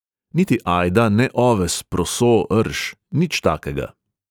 Niti ajda, ne oves, proso, rž, nič takega.